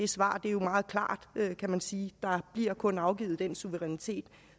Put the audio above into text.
svar er jo meget klart kan man sige der bliver kun afgivet den suverænitet